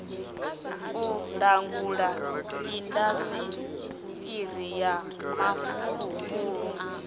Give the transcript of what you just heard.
u langula indasiṱiri ya mafulufulu